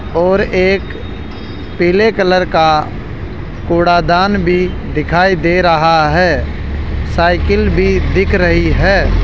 और एक पीले कलर का कूड़ादन भी दिखाई दे रहा है साइकिल भी दिख रही है।